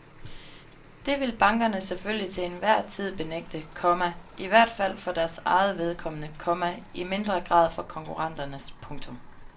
Det vil bankerne selvfølgelig til enhver tid benægte, komma i hvert fald for deres eget vedkommende, komma i mindre grad for konkurrenternes. punktum